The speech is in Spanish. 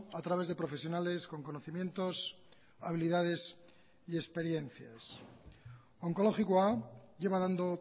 a través de profesionales con conocimientos habilidades y experiencias onkologikoa lleva dando